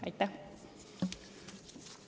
Aitäh!